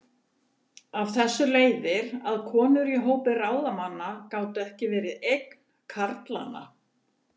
Af þessu leiðir að konur í hópi ráðamanna gátu ekki verið eign karlanna.